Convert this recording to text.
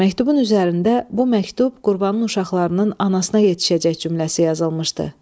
Məktubun üzərində bu məktub Qurbanın uşaqlarının anasına yetişəcək cümləsi yazılmışdı.